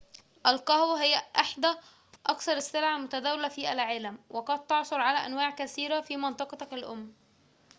القهوة هي إحدى أكثر السلع المتداولة في العالم وقد تعثر على أنواع كثيرة في منطقتك الأم